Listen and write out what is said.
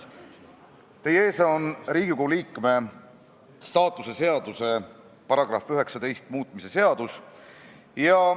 Teie ees on Riigikogu liikme staatuse seaduse § 19 muutmise seadus.